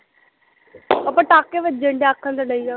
ਉਹ ਪਟਾਕੇ ਵਜਨ ਡਏ ਆਖਣ ਤੇ ਦਈ ਆ